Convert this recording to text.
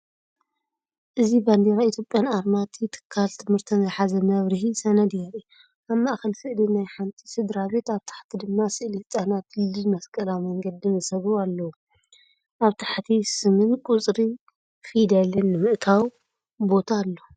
እዚ ባንዴራ ኢትዮጵያን ኣርማ እቲ ትካል ትምህርቲን ዝሓዘ መብርሂ ሰነድ የርኢ። ኣብ ማእከል ስእሊ ናይ ሓንቲ ስድራቤት፡ ኣብ ታሕቲ ድማ ስእሊ ህጻናት ድልድል መስቀላዊ መንገዲን ዝሰግሩ ኣለዉ። ኣብ ታሕቲ ስምን ቁጽሪ ፊደልን ንምእታው ቦታ ኣሎ።